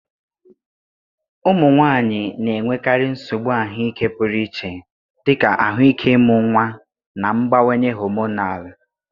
Ụmụ nwanyị na-enwekarị nsogbu ahụike pụrụ iche, dị ka ahụike ịmụ nwa na mgbanwe hormonal